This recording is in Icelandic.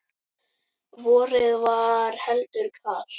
Vorið var heldur kalt.